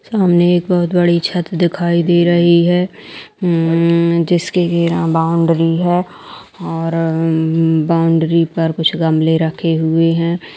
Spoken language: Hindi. सामने एक बहोत बड़ी छत दिखाई दे रही है| म्मम्म जिसके घेरा बाउंड्री है और अम्मम्म बाउंड्री पर कुछ गमले रखे हुए हैं।